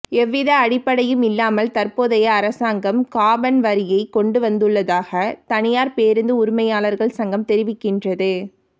எவ்வித அடிப்படையும் இல்லாமல் தற்போதைய அரசாங்கம் காபன் வரியை கொண்டுவந்துள்ளதாக தனியார் பேருந்து உரிமையாளர்கள் சங்கம் தெரிவிக்கின்றது